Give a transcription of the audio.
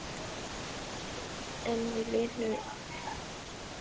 En eru línur að skýrast um helstu kosningamálin?